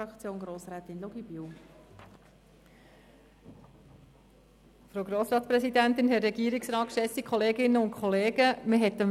Man hat das Votum von Grossrat Markus Wenger doch gehört.